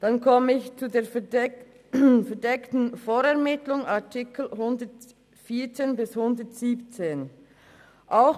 Ich komme zur verdeckten Vorermittlung betreffend die Artikel 114 bis 117: